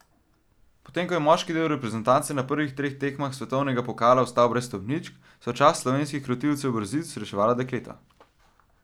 Potem ko je moški del reprezentance na prvih treh tekmah svetovnega pokala ostal brez stopničk, so čast slovenskih krotilcev brzic reševala dekleta.